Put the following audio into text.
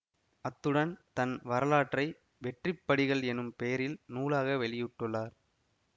அத்துடன் தன் வரலாற்றை வெற்றிப்படிகள் எனும் பெயரில் நூலாக வெளியிட்டுள்ளார்